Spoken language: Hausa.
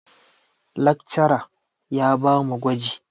Lakcara ya ba mu gwaji.